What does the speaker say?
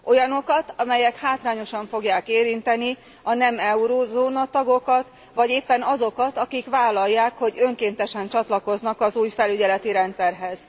Olyanokat, amelyek hátrányosan fogják érinteni a nem eurózóna tagokat, vagy éppen azokat, akik vállalják, hogy önkéntesen csatlakoznak az új felügyeleti rendszerhez.